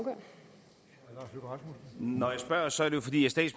når